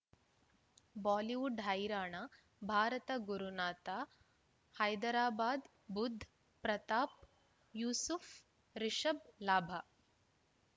Bollywood ಹೈರಾಣ ಭಾರತ ಗುರುನಾಥ ಹೈದರಾಬಾದ್ ಬುಧ್ ಪ್ರತಾಪ್ ಯೂಸುಫ್ ರಿಷಬ್ ಲಾಭ